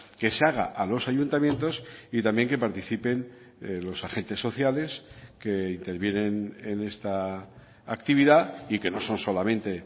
que se haga a los ayuntamientos y también que participen los agentes sociales que intervienen en esta actividad y que no son solamente